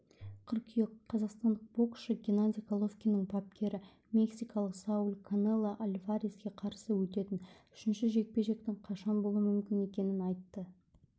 қыркүйек қазақстандық боксшы геннадий головкиннің бапкері мексикалық сауль канело альвареске қарсы өтетін үшінші жекпе-жектің қашан болуы мүмкін екенін айтты